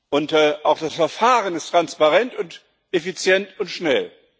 Und auch das Verfahren ist transparent und effizient und schnell.